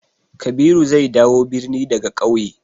Kabiru zai dawo birni daga ƙauye.